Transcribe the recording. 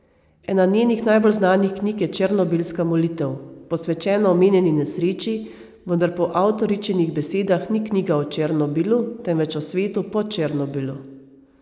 Ena njenih najbolj znanih knjig je Černobilska molitev, posvečena omenjeni nesreči, vendar po avtoričinih besedah ni knjiga o Černobilu, temveč o svetu po Černobilu.